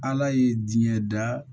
Ala ye diɲɛ da